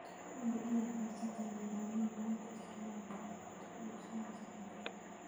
Hubi inaad haysato nidaam lagu kalsoonaan karo oo aad ku iibinayso digaaggaaga.